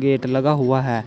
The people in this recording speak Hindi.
गेट लगा हुआ है।